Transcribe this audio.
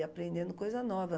E aprendendo coisa nova.